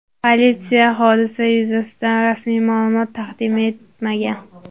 Politsiya hodisa yuzasidan rasmiy ma’lumot taqdim etmagan.